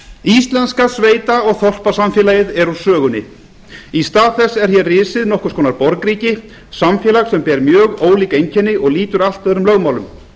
íslenska sveita og þorpasamfélagið er úr sögunni í stað þess er hér risið nokkurs konar borgríki samfélag sem ber mjög ólík einkenni og lýtur allt öðrum lögmálum